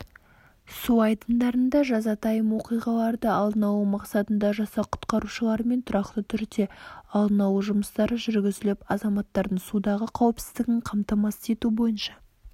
су айдындарында жазатайым оқиғаларды алдын алу мақсатында жасақ құтқарушыларымен тұрақты түрде алдын алу жұмыстары жүргізіліп азаматтардың судағы қауіпсіздігін қамтамасыз ету бойынша